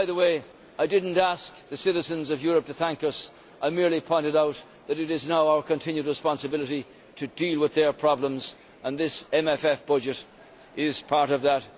By the way, I did not ask the citizens of Europe to thank us, but merely pointed out that it is now our continued responsibility to deal with their problems and this MFF budget is part of that.